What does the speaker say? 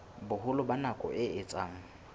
boholo ba nako e etsang